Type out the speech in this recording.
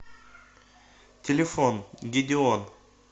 телефон гедеон